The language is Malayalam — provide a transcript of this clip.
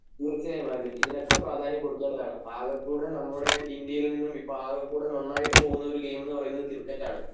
തീർച്ചയായും ആൽവിൻ ഇതിനൊക്കെ പ്രാധാന്യം കൊടുക്കേണ്ടതാണ് ആകെകൂടെ നമ്മുടെ ഇന്ത്യയിൽ നിന്നും ഇപ്പം ആകെ കൂടെ നന്നായിട്ട് പോവുന്നൊരു ഗെയിം എന്നുപറയുന്നത് ക്രിക്കറ്റ് ആണ്